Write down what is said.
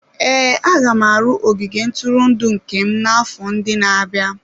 Ee, aga m arụ ogige ntụrụndụ nke m n'afọ ndị na-abịa.